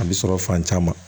A bɛ sɔrɔ fan caman